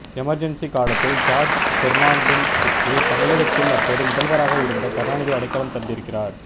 emergency காலத்தில் George பெர்னாண்டஸுக்கு தமிழகத்தில் அப்போது முதல்வராக இருந்த கருணாநிதி அடைகலம் தந்திருக்கிறார்